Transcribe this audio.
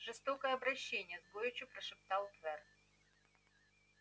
жестокое обращение с горечью прошептал твер